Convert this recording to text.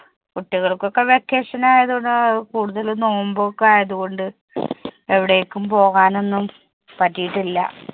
കുട്ടികൾക്ക് ഒക്കെ vacation ആയതുകൊണ്ട് കൂടുതൽ നോയമ്പ് ഒക്കെ ആയതുകൊണ്ട് എവിടേക്കും പോകാൻ ഒന്നും പറ്റീട്ടില്ല.